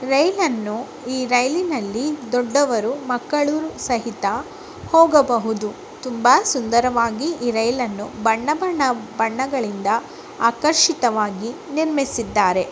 ರೈಲನ್ನು ಈ ರೈಲಿನಲ್ಲಿ ದೊಡ್ಡವರು ಮಕ್ಕಳೂ ಸಹಿತ ಹೋಗಬಹುದು. ತುಂಬಾ ಸುಂದರವಾಗಿ ಈ ರೈಲ ನ್ನು ಬಣ್ಣ ಬಣ್ಣ ಬಣ್ಣಗಳಿಂದ ಆಕರ್ಷಿತವಾಗಿ ನಿರ್ಮಿಸಿದ್ದಾರೆ.